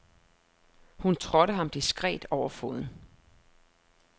Hun trådte ham diskret over foden.